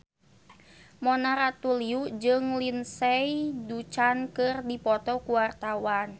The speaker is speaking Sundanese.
Mona Ratuliu jeung Lindsay Ducan keur dipoto ku wartawan